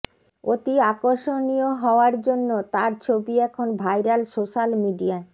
অতি আকর্ষণীয় হওয়ায় জন্য তাঁর ছবি এখন ভাইরাল সোশ্যাল মিডিয়ায়